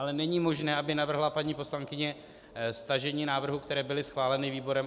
Ale není možné, aby navrhla paní poslankyně stažení návrhů, které byly schváleny výborem.